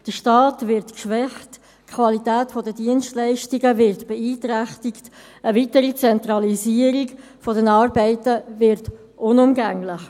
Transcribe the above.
Der Staat wird geschwächt, die Qualität der Dienstleistungen wird beeinträchtigt, und eine weitere Zentralisierung der Arbeiten wird unumgänglich.